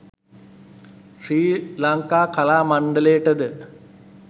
ශ්‍රී ලංකා කලා මණ්ඩලයට ද